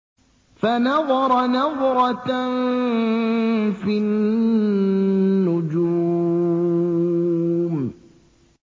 فَنَظَرَ نَظْرَةً فِي النُّجُومِ